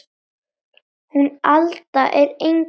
Hún Alda er engu lík